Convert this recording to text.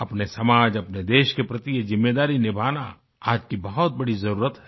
अपने समाज अपने देश के प्रति ये ज़िम्मेदारी निभाना आज की बहुत बड़ी ज़रूरत है